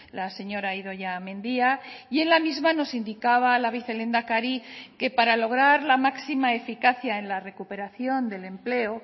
la señora idoia mendia y en la misma nos indicaba la vicelehendakari que para lograr la máxima eficacia en la recuperación del empleo